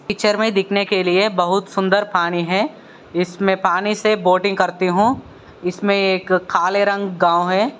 Picture दिखने के लिए बहुत सुंदर पानी है। इसमे पनि से बोटिंग करती हु। इसमे एक काले रंग गाव है।